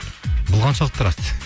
бұл қаншалықты рас